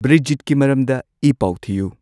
ꯕ꯭ꯔꯤꯖꯤꯠꯀꯤ ꯃꯔꯝꯗ ꯏ ꯄꯥꯎ ꯊꯤꯌꯨ